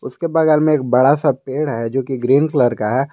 उसके बगल में एक बड़ा सा पेड़ है जो कि ग्रीन कलर का है।